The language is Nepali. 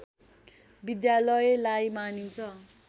विद्यालयलाई मानिन्छ